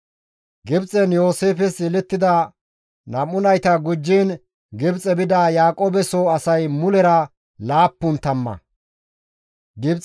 Gibxen Yooseefes yelettida nam7u nayta gujjiin Gibxe bida Yaaqoobe soo asay mulera laappun tamma.